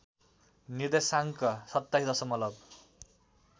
निर्देशाङ्क २७ दशमलब